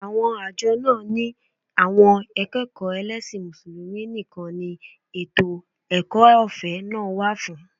Àwọn àjọ náà ni àwọn akẹ́kọ̀ọ́ ẹlẹ́sìn Mùsùlùmí nìkan ni ètò ẹ̀kọ́ ọ̀fẹ́ náà wà fún